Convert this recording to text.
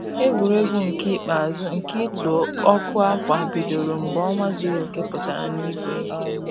Egwuregwu nke ikpeazụ nke ịtụ ọkụ ákwà bidoro mgbe ọnwa zuru oke pụtara n'igwe